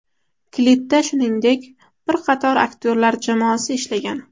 Klipda shuningdek, bir qator aktyorlar jamoasi ishlagan.